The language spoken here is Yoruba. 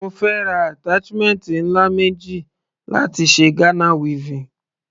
Mo fẹ́ ra attachment ńlá méjì láti ṣe Ghana weaving.